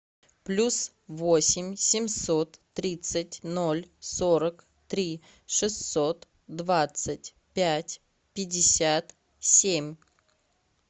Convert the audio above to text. плюс восемь семьсот тридцать ноль сорок три шестьсот двадцать пять пятьдесят семь